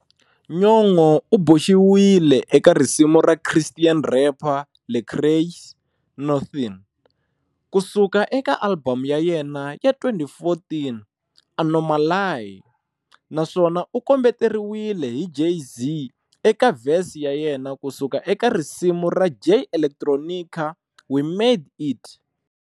Nyong'o u boxiwile eka risimu ra Christian rapper Lecrae's"Nuthin'" kusuka eka album ya yena ya 2014"Anomaly" naswona u kombeteriwile hi Jay-Z eka verse ya yena kusuka eka risimu ra Jay Electronica'We Made It".